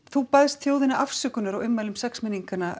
þú baðst þjóðina afsökunar á ummælum